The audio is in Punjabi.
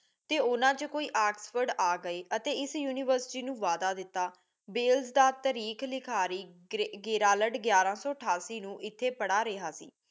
ਤੇ ਓਹਨਾ ਵਿਚੋਂ ਕੋਈ ਓਕ੍ਸ੍ਫੋਰਡ ਆ ਗਏ ਅਤੀ ਏਸ university ਨੂ ਵਾਦਾ ਦਿਤਾ ਬੇਲਜ ਦਾ ਤਾਰੀਖ ਲਿਖਾਰੀ ਗਿਯਰਲਡ ਗਿਆਰਾ ਸੋ ਅਠਾਸੀ ਨੂ ਇਥੇ ਪੜਾ ਰਿਹਾ ਸੀ